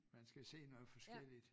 Man skal se noget forskelligt